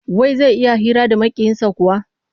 Wai zai iya hira da Maƙiyinsa kuwa?